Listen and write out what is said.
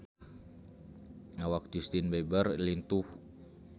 Awak Justin Beiber lintuh